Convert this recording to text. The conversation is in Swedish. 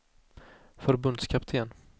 förbundskapten